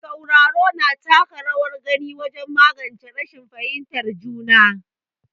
Sauraro, na taka rawar gani wajen magance rashin fahimtar juna.